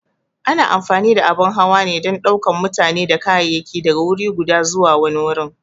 A na amfani da abun hawa ne don ɗaukan mutane da kayayyaki daga wuri guda zuwa wani wurin.